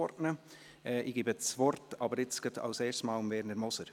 Ich gebe das Wort zunächst einmal Werner Moser.